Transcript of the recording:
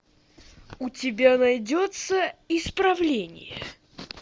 у тебя найдется исправление